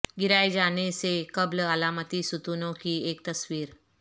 گرائے جانے سے قبل علامتی ستونوں کی ایک تصویر